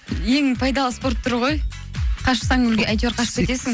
ең пайдалы спорт түрі ғой қашсаң әйтеуір қашып кетесің